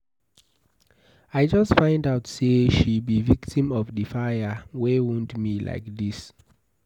I just find out say she be victim of the fire wey wound me like dis